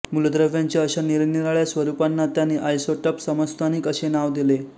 मूलद्रव्यांच्या अशा निरनिराळ्या स्वरुपांना त्यांनी आयसोटप समस्थानिक असे नाव दिले